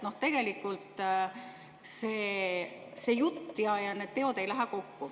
Tegelikult jutt ja teod ei lähe kokku.